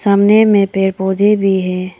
सामने में पेड़ पौधे भी है।